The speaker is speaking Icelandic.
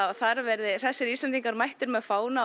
þar verði hressir Íslendingar mættir með fána og